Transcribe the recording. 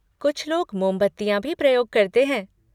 कुछ लोग मोमबत्तियाँ भी प्रयोग करते हैं।